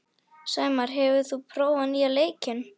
Sæmar, hefur þú prófað nýja leikinn?